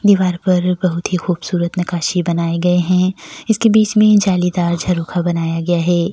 दीवार पर बहुत ही खूबसूरत नक्काशी बनाए गए हैं इसके बीच में जालीदार झरोखा बनाया जाया है।